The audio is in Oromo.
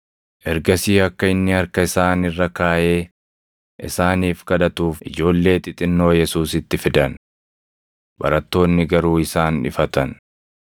Ergasii akka inni harka isaan irra kaaʼee isaaniif kadhatuuf ijoollee xixinnoo Yesuusitti fidan. Barattoonni garuu isaan ifatan.